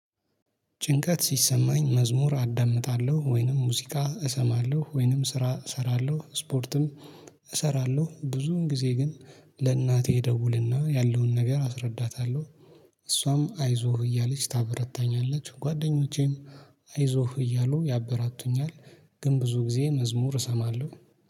ጭንቀት ሲሰማኝ መዝሙር አዳምጣለሁ፣ ወይንም ሙዚቃ እሰማለሁ፣ ወይንም ስራ እሰራለሁ፣ ስፖርትም እሰራለሁ። ብዙን ጊዜ ግን ለእናቴ ደውልና ያለውን ነገር አስረዳታለሁ። እሷም አይዞህ እያለች ታበረታኛለች። ጓደኞቼም አይዞህ እያሉ ያበራቱኛል። ግን ብዙ ጊዜ መዝሙር እሰማለሁ።